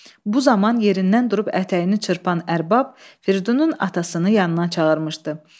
Bu zaman yerindən durub ətəyini çırpan ərbab Fridunun atasını yanına çağırmışdı.